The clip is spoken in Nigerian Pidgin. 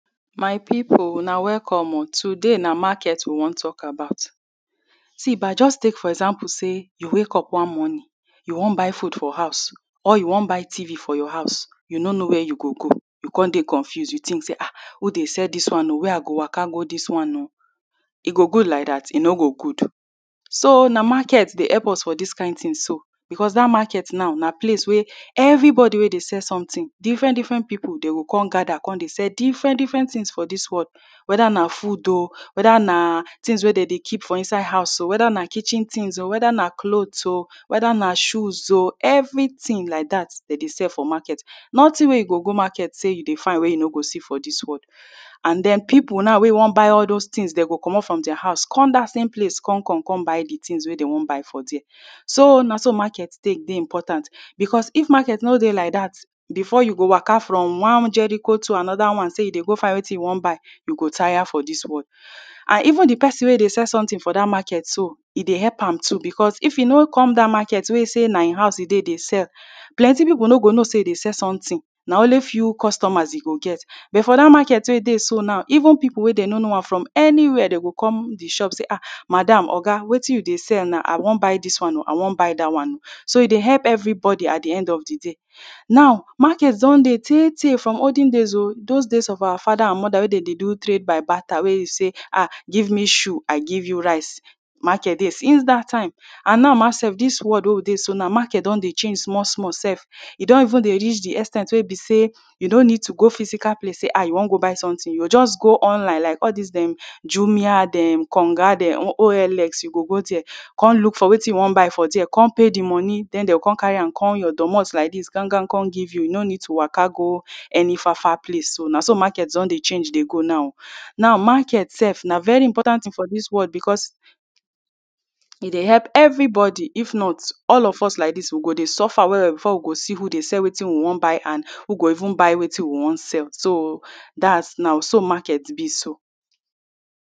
My people Una welcome oh today na market we wan talk about see na jus tek for example say you wake up one morning you wan buy food for house or you wan buy TV for your house you no know wia you go go you con dey confused you tink say ahh who dey sell dis one oo wia I go waka go dis one oo e go good like dat e no go good so na market dey help us for dis kind tin so becos day market so na place wey everybody wey dey sell something different different people dey go come gada com dey sell different different tins for dis world weda na food ok weda na tins wey dey dey keep for inside house oo weda na kitchen tins oo weda na clothes oo weda na shoes oo every tin like dat dem dey sell for market noting wey you go go market day you dey find wey you no go see for dis world and den people now wey wan buy all those tins dem go comot from dia house com dat same place com com com buy de tins wey dey wan buy for dia so na so market Tek dey important becos if market no dey like dat before you go waka from one Jericho to anoda say you dey go find wetin you wan buy you go tire for dis world an even dey person wey dey sell someting for dat market so e dey help am too becos if e no com dat market wey e say na him house e dey dey sell plenty people no go know say e dey sell something na only few customers e go get but for dat market wey e dey so now even people wey dem no know am from anywia dey go come de shop say oo madam oga wetin you dey sell now I wan buy dis one oo I wan buy dat one oo so e dey help everybody at de end of de day now market don dey tey tey those days of our fada an Moda wey dem dey do trade by bater wey be say give me shoe I give you rice market dey since dat time an now ma sef did world wey we dey so na market don dey change small small sef e don even dey reach de ex ten t wey be say you don’t need to go physical place say ah you wan go buy sometin you go just go online like all dis dem jumia dem konga dem OLX you go go dia com look for wetin you wan buy for com pay de money den dey go com carry am come your domot like dis gan gan come give you you no need to waka go any far far place oo na so market don dey change dey go now now oo now market sef na very important tin for dis world becos e dey help every body if not all of us like dis we go dey suffer well well before we go dey see who dey sell wetin we wan buy an who go dey even buy wetin we wan sell so dats now so market be so